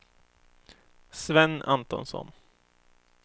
Sven Antonsson